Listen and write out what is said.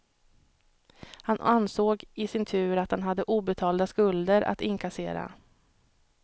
Han ansåg i sin tur att han hade obetalda skulder att inkassera.